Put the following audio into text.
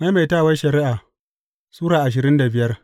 Maimaitawar Shari’a Sura ashirin da biyar